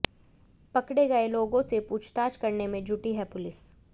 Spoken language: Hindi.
पकड़े गए लोगों से पूछताछ करने में जुटी है पुलिस